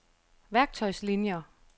værktøjslinier